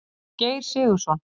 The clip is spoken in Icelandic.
Geir Sigurðsson.